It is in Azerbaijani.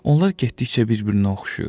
Onlar getdikcə bir-birinə oxşayır.